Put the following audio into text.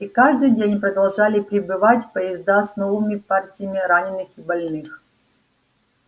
и каждый день продолжали прибывать поезда с новыми партиями раненых и больных